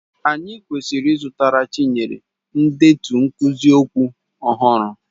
Anyị kwesịrị ịzụtara Chinyere ndetu nkuzi okwu ọhụrụ.